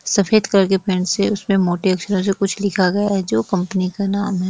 सफ़ेद कलर के पेंट से उसपे मोटे अक्षरों से कुछ लिखा गया है जो कंपनी का नाम हैं।